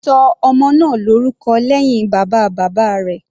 Ṣọ ọmọ náà lórúkọ lẹ́hìn bàbá bàbá rẹ̀.